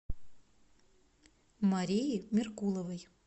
марии меркуловой